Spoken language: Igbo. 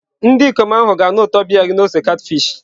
Ndị ikom ahụ ga-anụ ụtọ biya gị na ose catfish.